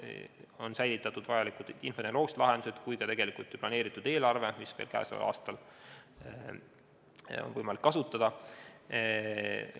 On säilitatud nii vajalikud infotehnoloogilised lahendused kui ka planeeritud eelarve, mida käesoleval aastal on võimalik kasutada.